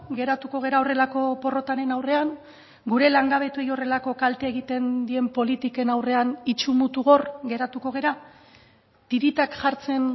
geratuko gara horrelako porrotaren aurrean gure langabetuei horrelako kalte egiten dien politiken aurrean itsu mutu gor geratuko gara tiritak jartzen